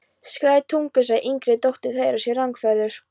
Skæðar tungur segja að yngri dóttir þeirra sé rangfeðruð.